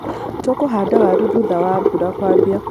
Tũkũhanda waru thutha wa mbura kwambia.